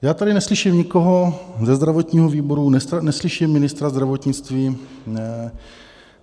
Já tady neslyším nikoho ze zdravotního výboru, neslyším ministra zdravotnictví.